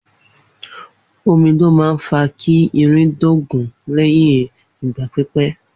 Omi ló ma ń fa kí irin dóògùn lẹyìn ìgbà pípé